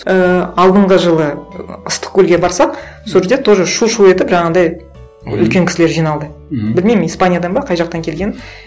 ііі алдынғы жылы ыстықкөлге барсақ сол жерде тоже шу шу етіп жаңағындай үлкен кісілер жиналды мхм білмеймін испаниядан ба қай жақтан келгенін